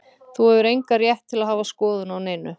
Þú hefur engan rétt til að hafa skoðun á neinu.